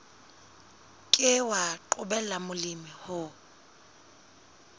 ke wa qobella molemi ho